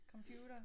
Computer